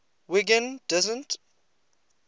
wiggin doesn t